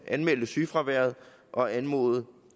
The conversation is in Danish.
anmelde sygefravær og anmode